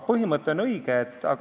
Põhimõte on õige.